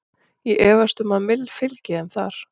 Ég efast um að Mill fylgi þeim þar.